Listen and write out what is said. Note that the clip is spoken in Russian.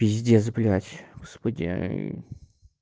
пиздец блять господи